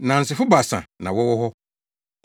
Nnansefo baasa na wɔwɔ hɔ.